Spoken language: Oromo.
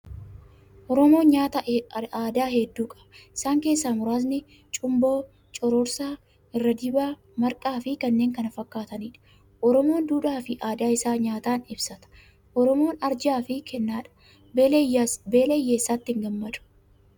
Oromoon nyaata aadaa hedduu qaba. Isaan keessaa muraasni: cumboo, cororsaa, irra dibaa, marqaa fi kanneen kana fakkaatanidha. Oromoon duudhaa fi aadaa isaa nyaataan ibsata. Oromoon arjaa fi kennaadha! Beela hiyyeessaatti hin gammadu!